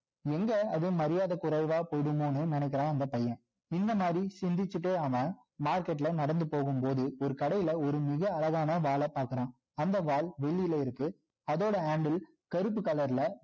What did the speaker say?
எங்க அது மரியாதை குறைவா போயிடுமோன்னு நினைக்கிறான் அந்த பையன் இந்த மாதிரி சிந்திச்சிட்டே அவன் market ல நடந்து போகும் போது ஒரு கடையில மிக அழகான வாள பார்க்குறான் அந்த வாள் வெள்ளியில இருக்கு அதோட handle கருப்பு colour ல